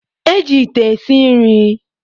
E ji ite esi nri.